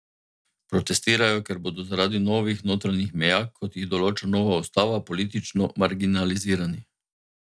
Protestirajo, ker bodo zaradi novih notranjih meja, kot jih določa nova ustava, politično marginalizirani.